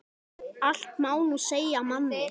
Allt má nú segja manni.